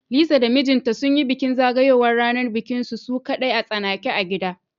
Lisa da mijinta sunyi bikin zagayowar ranar bikinsu su kadai a tsanake a gida